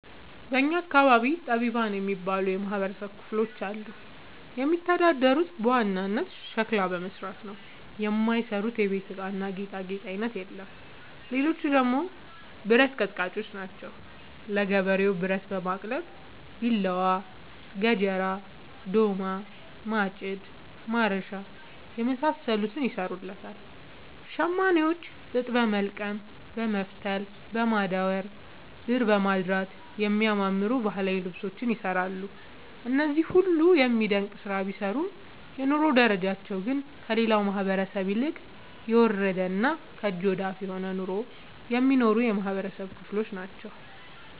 በእኛ አካባቢ ጠቢባን የሚባሉ የማህበረሰብ ክፍሎች አሉ። የሚተዳደሩት በዋናነት ሸክላ በመስራት ነው። የማይሰሩት የቤት እቃና ጌጣጌጥ አይነት የለም ሌቹ ደግሞ ብረት አቀጥቃጭጮች ናቸው። ለገበሬው ብረት በማቅለጥ ቢላዋ፣ ገጀራ፣ ዶማ፣ ማጭድ፣ ማረሻ የመሳሰሉትን ይሰሩለታል። ሸማኔዎች ጥጥ በወልቀም በመፍተል፣ በማዳወር፣ ድር በማድራት የሚያማምሩ ባህላዊ ልብሶችን ይሰራሉ። እነዚህ ሁሉም የሚደነቅ ስራ ቢሰሩም የኑሮ ደረጃቸው ግን ከሌላው ማህበረሰብ ይልቅ የወረደና ከእጅ ወዳፍ የሆነ ኑሮ የሚኖሩ የማህበረሰብ ክሎች ናቸው።